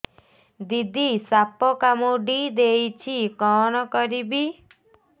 ଦିଦି ସାପ କାମୁଡି ଦେଇଛି କଣ କରିବି